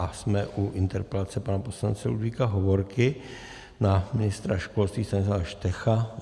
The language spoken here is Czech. A jsme u interpelace pana poslance Ludvíka Hovorky na ministra školství Stanislava Štecha.